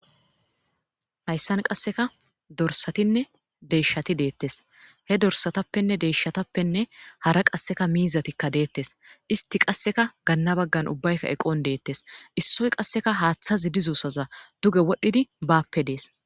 hayssan qasseka dorsatinne deyshshati deettes he dorsatappenne deyshshatappenne hara qasseka miizatikka deettes isti qasseka ganna baggan ubbaykka eqon deettes issoy qasseka haaththazi dizussaza duge wodhdhidi baappe dees